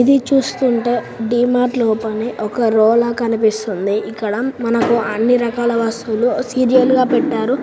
ఇది చూస్తుంటే డి మార్ట్ లా ఓపెన్ అయ్యి ఒక రో లా కనిపిస్తుంది. ఇక్కడ మనకు అన్ని రకాల వస్తువులు సీరియల్ గా పెట్టారు.